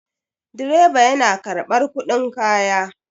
Direba yana karɓar kuɗin kaya.